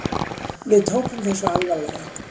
Við tókum þessu alvarlega.